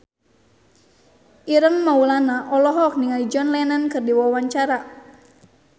Ireng Maulana olohok ningali John Lennon keur diwawancara